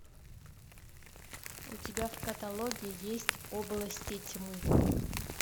у тебя в каталоге есть области тьмы